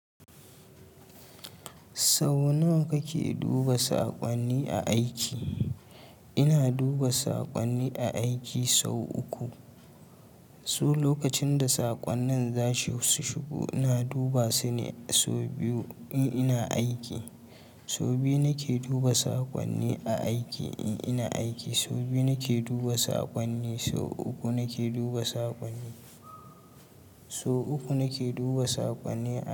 Sau nawa kake duba saƙonni a aiki? Ina duba saƙonni a aiki sau uku. So lokacin da saƙonnin za su shigo, ina duba su ne sau biyu in ina aiki. Sau biyu nake duba saƙonni a aiki in ina aiki. Sau biyu nake duba saƙonni. Sau uku nake duba saƙonni. Sau uku nake duba saƙonni a.